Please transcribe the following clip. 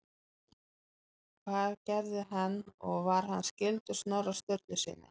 Hvað gerði hann og var hann skyldur Snorra Sturlusyni?